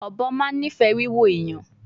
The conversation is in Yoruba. Ọbọ ma nifẹ wiwo ẹyan